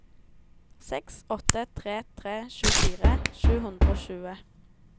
seks åtte tre tre tjuefire sju hundre og tjue